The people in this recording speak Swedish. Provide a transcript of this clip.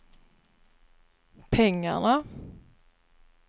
pengarna